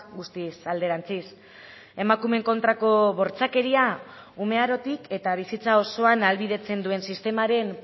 guztiz alderantziz emakumeen kontrako bortxakeria ume arotik eta bizitza osoan ahalbidetzen duen sistemaren